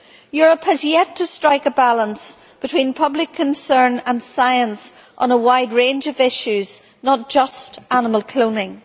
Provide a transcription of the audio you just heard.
Europe has yet to strike a balance between public concern and science on a wide range of issues, not just animal cloning.